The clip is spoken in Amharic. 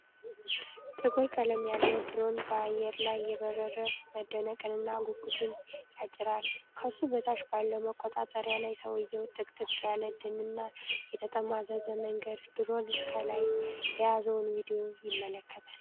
ቁር ቀለም ያለው ድሮን በአየር ላይ እየበረረ መደነቅንና ጉጉትን ያጭራል። ከሱ በታች ባለው መቆጣጠሪያ ላይ፣ ሰውዬው ጥቅጥቅ ያለ ደንና የተጠማዘዘ መንገድ ድሮኑ ከላይ የያዘውን ቪዲዮ ይመለከታ